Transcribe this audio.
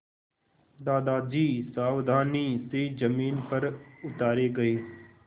दादाजी सावधानी से ज़मीन पर उतारे गए